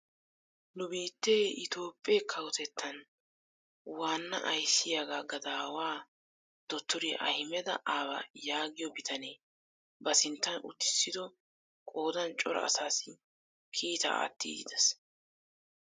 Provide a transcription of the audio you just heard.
Nu biittee itoophphee kawotettan waanna ayssiyaa gadawaa dottoriyaa ahimeda aaba yaagiyoo bitanee ba sinttan uttisido qoodan cora asaassi kiitaa aattiidi de'ees.